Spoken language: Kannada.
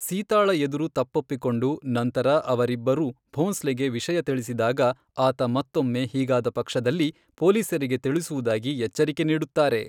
ಸೀತಾಳ ಎದುರು ತಪ್ಪೊಪ್ಪಿಕೊಂಡು, ನಂತರ ಅವರಿಬ್ಬರೂ ಭೋಂಸ್ಲೆಗೆ ವಿಷಯ ತಿಳಿಸಿದಾಗ, ಆತ ಮತ್ತೊಮ್ಮೆ ಹೀಗಾದ ಪಕ್ಷದಲ್ಲಿ ಪೊಲೀಸರಿಗೆ ತಿಳಿಸುವುದಾಗಿ ಎಚ್ಚರಿಕೆ ನೀಡುತ್ತಾರೆ.